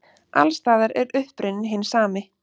Alls staðar er uppruninn hinn sami.